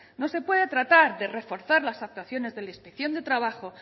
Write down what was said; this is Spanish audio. no se puede tratar de reforzar las actuaciones de la inspección de trabajo